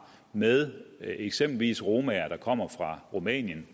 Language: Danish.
med eksempelvis romaer der kommer fra rumænien